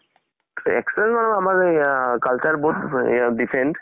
experience মানে আমাৰ এয়া culture বহুত এয়া different